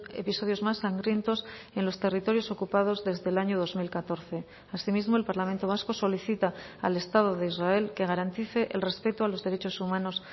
episodios más sangrientos en los territorios ocupados desde el año dos mil catorce asimismo el parlamento vasco solicita al estado de israel que garantice el respeto a los derechos humanos